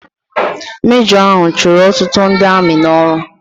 Mejọ ahụ chụrụ ọtụtụ ndị amị n'ọrụ.